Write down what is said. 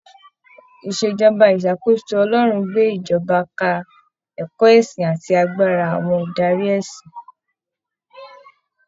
ìṣèjọba ìṣàkóso Ọlọrun gbé ìṣèjọba ka ẹ̀kọ́ ẹ̀sìn àti agbára àwọn adarí ẹ̀sìn.